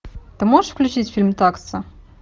ты можешь включить фильм такса